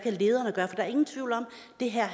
det her